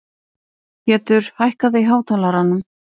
Pétur, hækkaðu í hátalaranum.